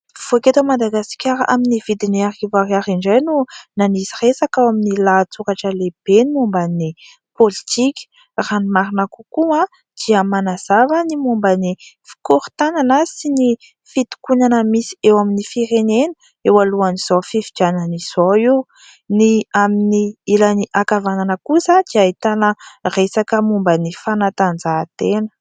Mivoaka eto Madagasikara amin'ny vidiny arivo ariary indray no nanisy resaka ao amin'ny lahatsoratra lehibe ny momba ny politika. Raha ny marina kokoa dia manazava ny momba ny fikorontanana sy ny fitokonana misy eo amin'ny firenena eo alohan'izao fifidianana izao io. Ny amin'ny ilan'ny ankavanana kosa dia ahitana resaka momba ny fanatanjahantena.